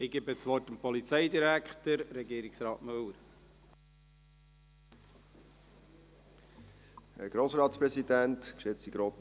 Ich gebe dem Polizeidirektor, Regierungsrat Müller, das Wort.